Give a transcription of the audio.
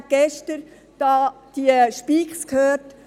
Wir haben gestern diese Voten gehört.